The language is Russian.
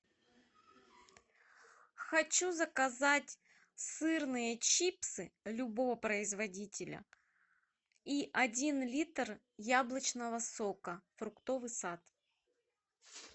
хочу заказать сырные чипсы любого производителя и один литр яблочного сока фруктовый сад